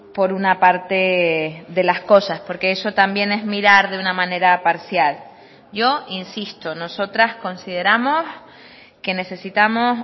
por una parte de las cosas porque eso también es mirar de una manera parcial yo insisto nosotras consideramos que necesitamos